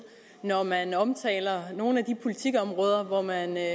når man omtaler nogle af de politikområder hvor man i